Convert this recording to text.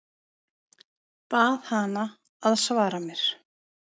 Bað hana að svara mér.